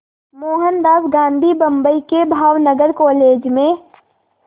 मोहनदास गांधी बम्बई के भावनगर कॉलेज में